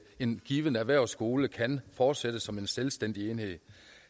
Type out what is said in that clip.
en given erhvervsskole kan fortsætte som en selvstændig enhed